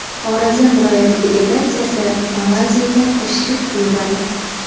Xorazm viloyati delegatsiyasi Malayziyaga tashrif buyuradi.